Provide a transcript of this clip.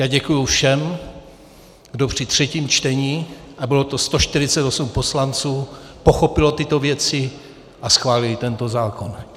Já děkuji všem, kdo při třetím čtení - a bylo to 148 poslanců - pochopili tyto věci a schválili tento zákon.